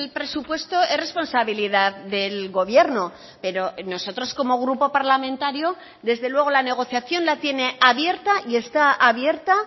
presupuesto es responsabilidad del gobierno pero nosotros como grupo parlamentario desde luego la negociación la tiene abierta y está abierta